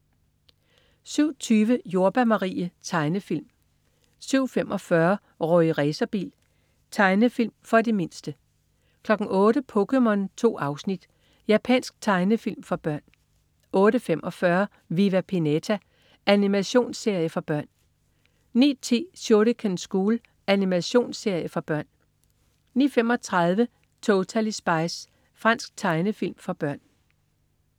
07.20 Jordbær Marie. Tegnefilm 07.45 Rorri Racerbil. Tegnefilm for de mindste 08.00 POKéMON. 2 afsnit. Japansk tegnefilm for børn 08.45 Viva Pinata. Animationsserie for børn 09.10 Shuriken School. Animationsserie for børn 09.35 Totally Spies. Fransk tegnefilm for børn